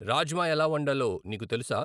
రాజ్మా ఎలా వండాలో నీకు తెలుసా?